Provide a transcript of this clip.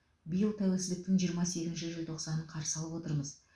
биыл тәуелсіздіктің жиырма сегізінші желтоқсанын қарсы алып отырмыз